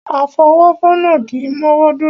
Afọwọ́fọnná kì í mọ́wọ́ dúró.